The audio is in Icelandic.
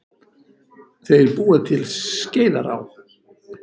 Þeir búa til Skeiðará.